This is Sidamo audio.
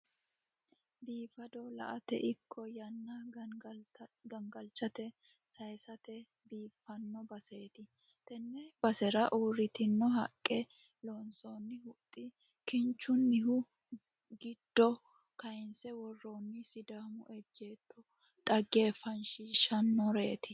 Bifado la'ate ikko yanna gangalantanni saaysate biiffino baseeti. Tenne basera uurtitino haqqe loonsoonni huxxi kinchunnihu, giddo kaaynse worroonni sidaamu ejjeetto dhaggeeffachishshannoreeti.